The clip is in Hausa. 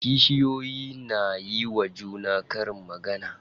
Kishiyoyin na yiwa juna karin magana.